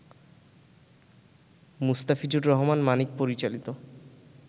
মুস্তাফিজুর রহমান মানিক পরিচালিত